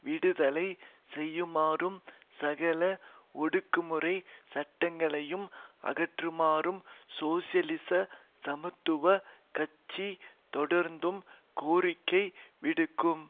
விடுதலை செய்யுமாறு சகல ஒடுக்குமுறை சட்டங்கைளயும் அகற்றுமாறும் சோசியலிச சமத்துவ கட்சி தொடர்ந்தும் கோரிக்கை விடுக்கும்